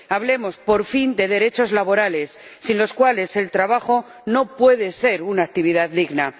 Hablemos, por fin, de derechos laborales, sin los cuales el trabajo no puede ser una actividad digna.